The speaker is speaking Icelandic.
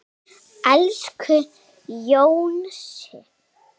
Elsku Jónsi.